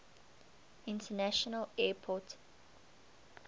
international airport iata